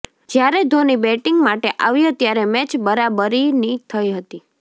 જ્યારે ધોની બેટિંગ માટે આવ્યો ત્યારે મેચ બરાબરીની થઇ હતી